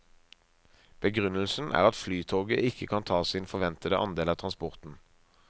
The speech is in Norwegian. Begrunnelsen er at flytoget ikke kan ta sin forventede andel av transporten.